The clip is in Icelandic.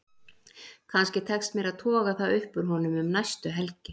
Kannski tekst mér að toga það upp úr honum um næstu helgi.